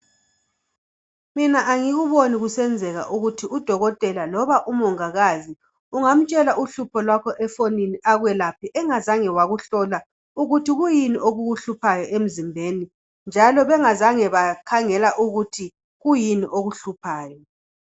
mina angikuboni kusenzeka ukuthi u dokotela noma umongikazi ungatshela uhlupho lwakho efonini ekwelaphe angazange wakuhlola ukuthi kuyini okukuhluphayo emzimbeni njalo bengazange bakhangela ukuthi kuyini okuhluphayo